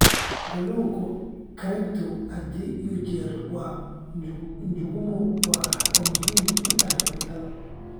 Kalluunka karinta had iyo jeer waa, Njuguma waxay muhiim u tahay cuntada.